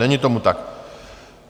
Není tomu tak.